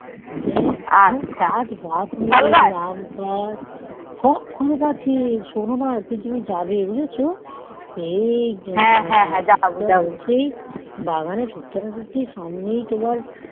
কি গাছ লাগিয়েছি আম গাছ খুব ফলন আছে শোনো না একদিন তুমি যাবে বুঝেছো বাগানে ঢুকতে না ঢুকতেই সামনে তোমার